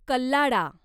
कल्लाडा